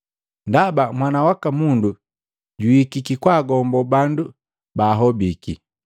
Ndaba Mwana waka Mundu juhikiki kwaagombo bandu baahobiki.”